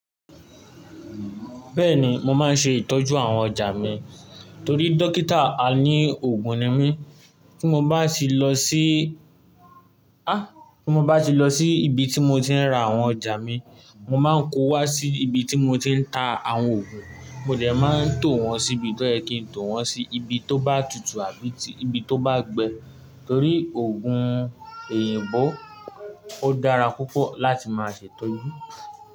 Bẹ́ẹ̀ni, mo máa ń ṣe ìtọ́jú àwọn ọjà mi torí dókítà a ní òògùn ni mí. Tí mo bá sì lọ sí, ah tí mo bá ti lọ sí ibi tí mo ti ń ra àwọn ọjà mi, mo máa ń kó wá sí ibi tí mo ti ń ta àwọn òògùn, mo dẹ̀ máa ń tò wọ́n síbi tó yẹ kín tò wọ́n sí ibi tó bá tutù àbí tí ibi tó bá gbẹ torí òògùn òyìnbó ó dára púpọ̀ láti máa ṣe ìtọ́jú.